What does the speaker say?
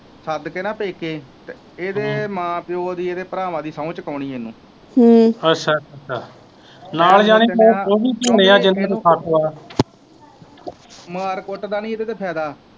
ਸੱਦ ਕੇ ਨਾ ਪੇਕੇ ਤੇ ਇਹਦੇ ਮਾਂ ਪਿਓ ਦੀ ਇਹਦੇ ਭਰਾਵਾਂ ਦੀ ਸੋਹ ਚਕਾਉਣੀ ਇਹਨੂੰ ਮਾਰ ਕੁਟਦਾ ਨਹੀਂ ਇਹਦੇ ਤੇ ਫਾਇਦਾ।